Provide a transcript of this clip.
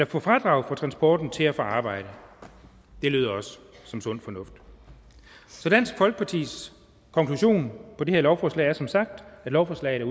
få fradrag for transporten til og fra arbejde det lyder også som sund fornuft så dansk folkepartis konklusion på det her lovforslag er som sagt at lovforslaget